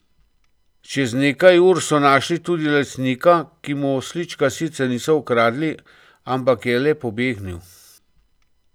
Čez nekaj ur so našli tudi lastnika, ki mu oslička sicer niso ukradli, ampak je le pobegnil.